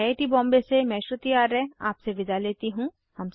I I T Bombay से मैं श्रुति आर्य आपसे विदा लेती हूँ